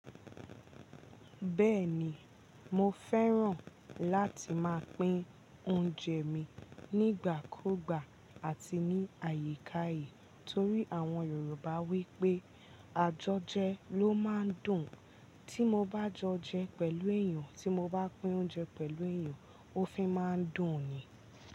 Bẹ́ẹ̀ni, mo fẹ́ràn láti máa pín oúnjẹ mi nígbàkugbà àti ní àyíká yìí torí àwọn Yorùbá wí pé àjọjẹ ló máa ń dùn. Tí mo bá jẹun pẹ̀lú èèyàn, tí mo bá pín oúnjẹ pẹ̀lú èèyàn, ó fi má ń dùn ni.